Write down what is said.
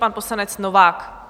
Pan poslanec Novák.